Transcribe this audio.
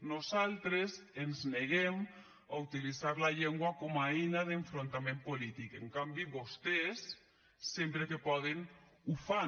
nosaltres ens neguem a utilitzar la llengua com a eina d’enfrontament polític en canvi vostès sempre que poden ho fan